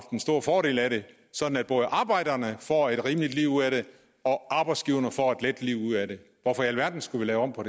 en stor fordel af det sådan at både arbejderne får et rimeligt liv ud af det og arbejdsgiverne får et let liv ud af det hvorfor i alverden skulle vi lave om på